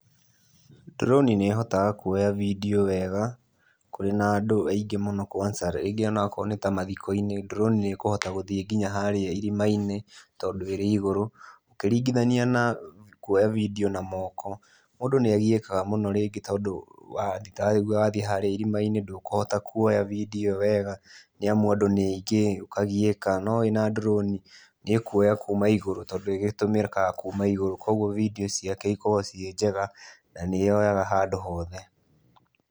Drone nĩhotaga kwoya vidiũ wega kurĩ na andũ aingĩ mũno kwanja, rĩngĩ onokorwo nĩ ta mathiko-inĩ. Drone nĩkuhota gũthiĩ nginya harĩa irima-inĩ tondũ ĩrĩ igũrũ ũkĩringithania na kwoya vidiũ na moko. Mũndũ nĩagiyĩkaga mũno rĩngĩ tondũ ta rĩu wathiĩ harĩa irima-inĩ ndũkũhota kũoya vidiũ ĩyo wega nĩamu andũ nĩ aingĩ ũkagiyĩka. No wĩna drone nĩĩkũoya kuma igũrũ tondũ ĩgĩtũmĩkaga kuma igũrũ, kogwo vidiũ ciake ikoragwo ciĩ njega, na nĩ yoyaga handũ hothe.